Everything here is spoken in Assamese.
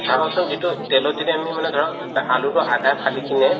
চাবাচোন যিতো তেলত যদি আমি মানে ধৰা আলুতো আধা ফালি কিনে